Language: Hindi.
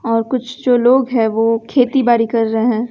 और कुछ जो लोग हैं वो खेतीबारी कर रहे हैं।